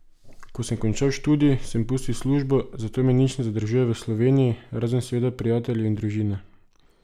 Ko sem končal študij, sem pustil službo, zato me nič ne zadržuje v Sloveniji, razen seveda prijateljev in družine.